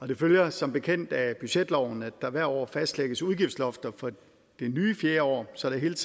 det følger som bekendt af budgetloven at der hvert år fastlægges udgiftsloft for det nye fjerde år så der hele